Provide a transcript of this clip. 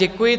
Děkuji.